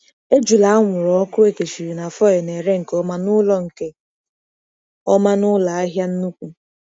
Ejula anwụrụ ọkụ e kechiri na foil na-ere nke ọma n'ụlọ nke ọma n'ụlọ ahịa nnukwu.